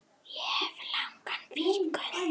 Ég hef langa fingur.